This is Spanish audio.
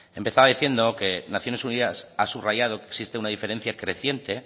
empezaba diciendo que naciones unidas ha subrayado que existe una diferencia creciente